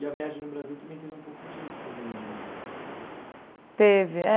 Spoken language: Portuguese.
E a viagem no Brasil também teve um pouco disso, também, ou não? Teve é